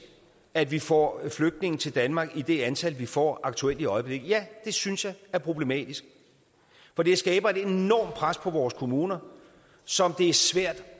at vi får flygtninge til danmark i det antal vi får i øjeblikket ja det synes jeg er problematisk for det skaber et enormt pres på vores kommuner som det er svært